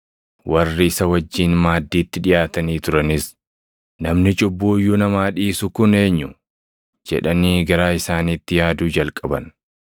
Warri isa wajjin maaddiitti dhiʼaatanii turanis, “Namni cubbuu iyyuu namaa dhiisu kun eenyu?” jedhanii garaa isaaniitti yaaduu jalqaban.